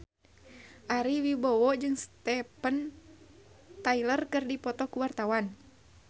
Ari Wibowo jeung Steven Tyler keur dipoto ku wartawan